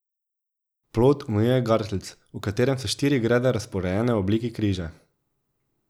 Plot omejuje gartlc, v katerem so štiri grede razporejene v obliki križa.